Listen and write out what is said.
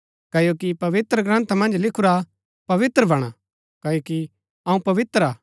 क्ओकि पवित्रग्रन्था मन्ज लिखुरा पवित्र बणा क्ओकि अऊँ पवित्र हा